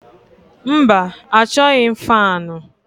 Mba achọghị m faanụ.